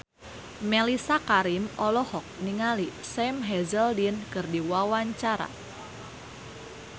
Mellisa Karim olohok ningali Sam Hazeldine keur diwawancara